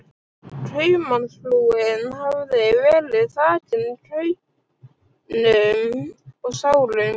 Kaupmannsfrúin hafði verið þakin kaunum og sárum